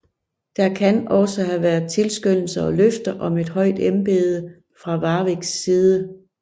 Der kan også have været tilskyndelser og løfter om et højt embede fra Warwicks side